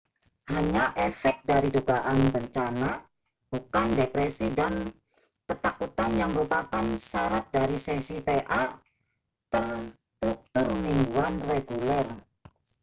hanya efek dari dugaan bencana bukan depresi dan ketakutan yang merupakan syarat dari sesi pa terstruktur mingguan reguler